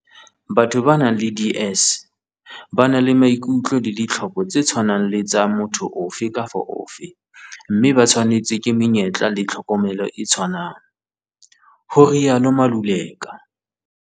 "Batho ba nang le DS ba na le maikutlo le ditlhoko tse tshwanang le tsa motho ofe kapa ofe mme ba tshwanetswe ke menyetla le tlhokomelo e tshwanang," ho rialo Maluleka.